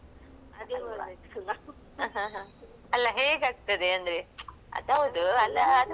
ಅಲ್ಲ ಹೇಗಾಗ್ತದೆ ಅಂದ್ರೆ ಅದು ಹೌದು ಅಲ್ಲ ಅದ್ ಹೌದು ಒಂಥರಾ ನಂಗೆ ತುಂಬಾ ಇಷ್ಟ ಅದು ಕೆಲ್ಸ actually.